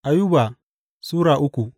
Ayuba Sura uku